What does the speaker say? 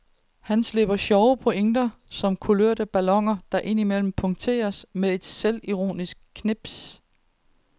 Han slipper sjove pointer som kulørte balloner, der ind imellem punkteres med et selvironisk knips.